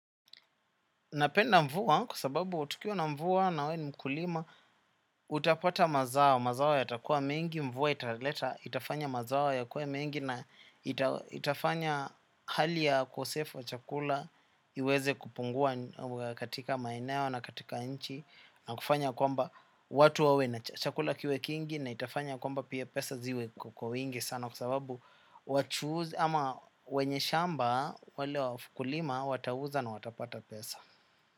Napenda mvua, kwa sababu tukiwa na mvua nawe ni mkulima, utapata mazao, mazao yatakuwa mengi, mvua italeta, itafanya mazao yakuwe mengi, na ita itafanya hali ya ukosefu wa chakula, iweze kupungua katika maeneo na katika nchi, na kufanya kwamba watu wawe na chakula kiwe kingi, na itafanya kwamba pia pesa ziwe kwa wingi sana, kwa sababu wachuuzi, ama wenye shamba, wale wakulima, watauza na watapata pesa.